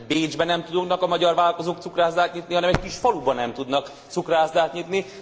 Hát nemhogy Bécsben nem tudnak a magyar vállalkozók cukrászdát nyitni, hanem egy kis faluban nem tudnak cukrászdát nyitni.